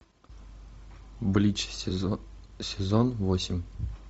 блич сезон восемь